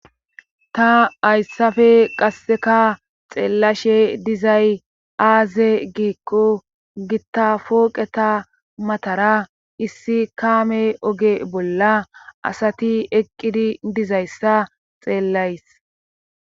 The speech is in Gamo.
ta hayssappe qasseka xeellashe dizay aaze giikko gitta pooqeta matara issi kaame oge bolla asati eqqidi dizayssa xeellays